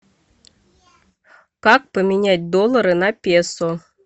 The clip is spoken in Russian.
как поменять доллары на песо